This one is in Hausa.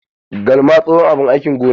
Galma tsohon abin aikin gona ne.